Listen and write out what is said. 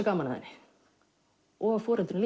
gaman að henni og foreldrum